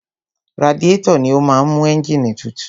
Radiétọ̀ ni ó máa ń mú ẹ́ǹgìnì tutù.